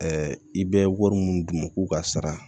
i bɛ wari mun d'u ma k'u ka sara